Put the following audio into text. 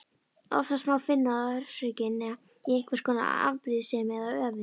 Oftast má finna orsökina í einhvers konar afbrýðisemi eða öfund.